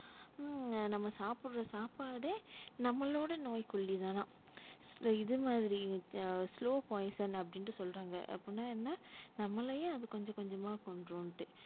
ம்ம் நம்ம சாப்புற சாப்பாடே நம்மளோட நோய்க்கொல்லி தானா இந்த இதுமாதிரி slow poison அப்டின்ட்டு சொல்றாங்க அப்டின்ன என்ன நம்மளையே அது கொஞ்சம் கொஞ்சம்மா கொன்றும்ட்டு,